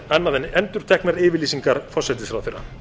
annað en endurteknar yfirlýsingar forsætisráðherra